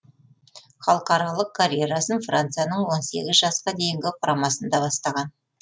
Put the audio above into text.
халықаралық карьерасын францияның он сегіз жасқа дейінгі құрамасында бастаған